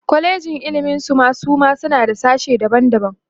kwalejin ilimi Suma suma suna da sashe daban daban